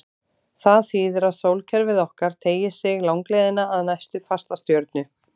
Það þýðir að sólkerfið okkar teygir sig langleiðina að næstu fastastjörnu.